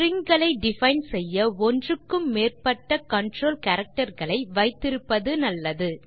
string களை define செய்ய ஒன்றுக்கு மேற்பட்ட கன்ட்ரோல் கேரக்டர் ஐ வைத்திருப்பது நல்லது